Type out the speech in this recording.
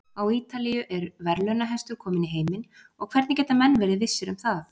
Á Ítalíu er verðlaunahestur kominn í heiminn og hvernig geta menn verið vissir um það?